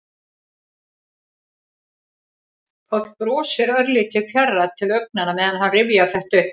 Páll brosir, örlítið fjarrænn til augnanna meðan hann rifjar þetta upp.